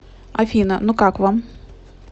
афина ну как вам